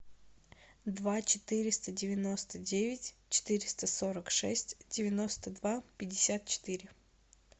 два четыреста девяносто девять четыреста сорок шесть девяносто два пятьдесят четыре